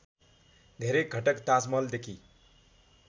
धेरै घटक ताजमहलदेखि